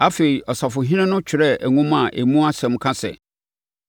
Afei, ɔsafohene no twerɛɛ nwoma a emu nsɛm ka sɛ: